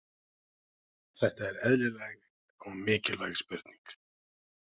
Þetta er eðlileg og mikilvæg spurning.